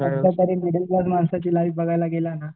एकदा जरी middle class माणसाची लाईफ बघायला गेला ना